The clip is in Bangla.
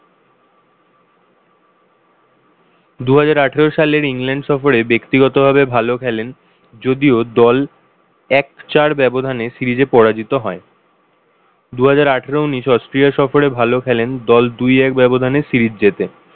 দুহাজার আঠারো সালের ইংল্যান্ড সফরে ব্যক্তিগত ভাবে ভালো খেলেন। যদিও দল এক-চার ব্যবধানে series এ পরাজিত হয়। দুহাজার আঠারো উনিশ অস্ট্রেলিয়া সফরে ভালো খেলেন, দল দুই-এক ব্যবধানে series জিতে।